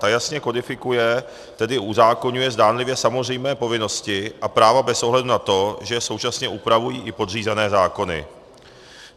Ta jasně kodifikuje, tedy uzákoňuje, zdánlivě samozřejmé povinnosti a práva bez ohledu na to, že současně upravují i podřízené zákony.